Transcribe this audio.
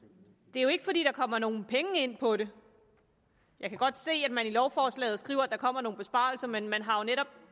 det er jo ikke fordi der kommer nogen penge ind på det jeg kan godt se at man i lovforslaget skriver at der kommer nogle besparelser men man har jo netop